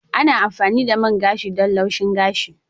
Ana amfani da main gashi don laushin gashi.